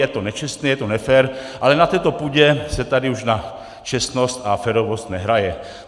Je to nečestné, je to nefér, ale na této půdě se tady už na čestnost a férovost nehraje.